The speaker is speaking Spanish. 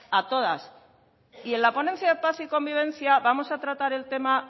a todas y en la ponencia de paz y convivencia vamos a tratar el tema